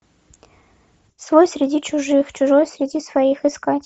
свой среди чужих чужой среди своих искать